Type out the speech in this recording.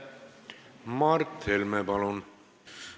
Mart Helme, palun!